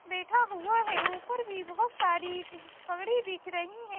बैठा हुआ है ऊपर भी बहोत सारी पगड़ी दिख रही है।